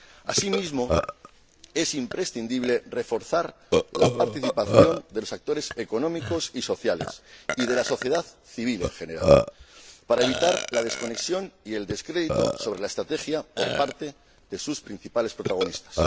Asimismo, es imprescindible reforzar la participación de los actores económicos y sociales y de la sociedad civil en general, para evitar la desconexión y el descrédito de la Estrategia por parte de sus principales protagonistas.